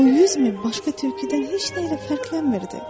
O yüz min başqa tülküdən heç nə ilə fərqlənmirdi.